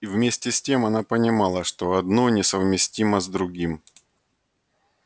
и вместе с тем она понимала что одно несовместимо с другим